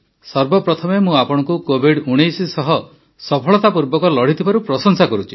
ସର୍ବପ୍ରଥମେ ମୁଁ ଆପଣଙ୍କୁ କୋଭିଡ୧୯ ସହ ସଫଳତାପୂର୍ବକ ଲଢ଼ିଥିବାରୁ ପ୍ରଶଂସା କରୁଛି